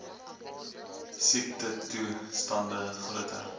siektetoe stande groter